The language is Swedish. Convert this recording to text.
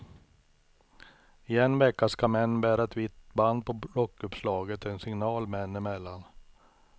I en vecka ska män bära ett vitt band på rockuppslaget, en signal män emellan.